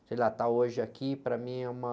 Sei lá, está hoje aqui, para mim é uma...